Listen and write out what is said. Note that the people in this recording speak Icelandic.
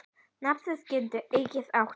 Nafnið getur einnig átt við